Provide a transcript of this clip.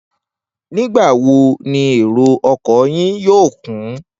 Nígbà wo ni èrò o̩kò̩ yìí yóò kún?